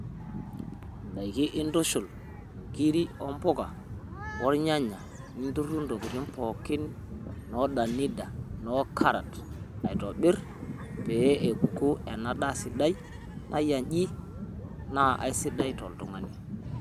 N`daikin intushul nkirik o mpuka o ilnyanya ninturruru ntokitin pookin noo danida noo karat aitobirr pee epuku ena `daa sidai nayia inji, naa aisidai toltung`ani.